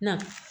Na